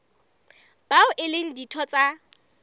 bao e leng ditho tsa